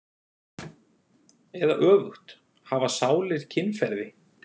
Eða öfugt: hafa sálir kynferði?